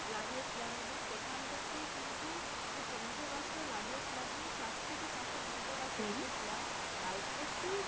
লাগিয়ে ছিলাম এবং সেখান থেকে কিন্তু যে টমেটো গাছটা লাগিয়ে ছিলাম আমি চার থেকে পাঁচটা টমেটো গাছ আর প্রচুর,